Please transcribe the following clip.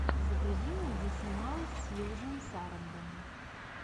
загрузи мне где снималась сьюзан сарандон